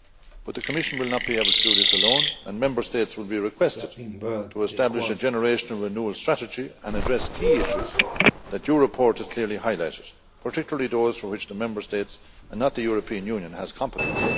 But the Commission will not be able to do this alone, and Member States will be requested to establish a generational renewal strategy and address key issues that your report has clearly highlighted, particularly those for which the Member States and not the European Union has competence.